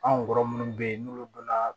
Anw kɔrɔ minnu be yen n'olu donna